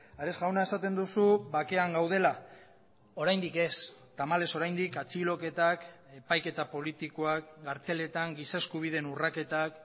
ares jauna esaten duzu bakean gaudela oraindik ez tamalez oraindik atxiloketak epaiketa politikoak kartzeletan giza eskubideen urraketak